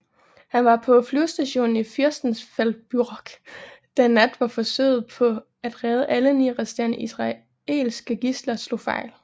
Han var på flyvestationen i Fürstenfeldbruck den nat hvor forsøget på at redde alle ni resterende israelske gidsler slog fejl